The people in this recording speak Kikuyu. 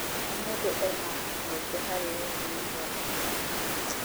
O mũndũ ena mweke harĩ ũthii wa na mbere wa bũrũri.